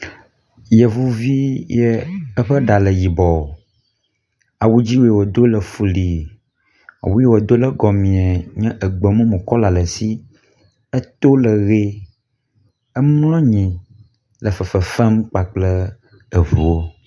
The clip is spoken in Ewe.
Yevuvi ye eƒe ɖa le yibɔɔ. Awu dzĩ wòdo le fulii. Awu yi wòdo ɖe gɔmii nye gbemumu kɔla le si. Eto le ʋie. Emlɔ nyi le fefem kpakple eŋuwo.